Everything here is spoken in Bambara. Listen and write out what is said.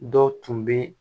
Dɔ tun bɛ